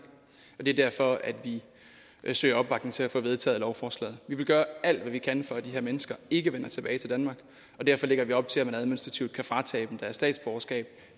det er derfor at vi søger opbakning til at få vedtaget lovforslaget vi vil gøre alt hvad vi kan for at de her mennesker ikke vender tilbage til danmark og derfor lægger vi op til at man administrativt kan fratage dem deres statsborgerskab